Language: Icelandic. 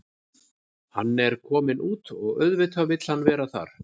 Hann er kominn út og auðvitað vill hann vera þar.